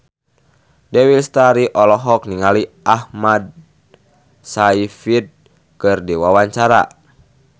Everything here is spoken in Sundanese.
Dewi Lestari olohok ningali Amanda Sayfried keur diwawancara